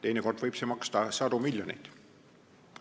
Teinekord võib see maksta sadu miljoneid.